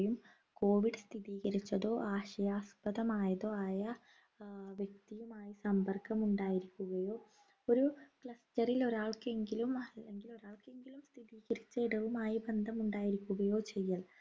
COVID സ്ഥിരീകരിച്ചതോ ആശയാസ്പദമായതോ ആയ ആഹ് വ്യക്തിയുമായി സമ്പർക്കം ഉണ്ടായിരിക്കുകയോ ഒരു cluster ൽ ഒരാൾക്ക് എങ്കിലും അല്ലെങ്കിൽ ഒരാൾക്കെങ്കിലും സ്ഥിരീകരിച്ച ഇടവുമായി ബന്ധം ഉണ്ടായിരിക്കുകയോ ചെയ്യൽ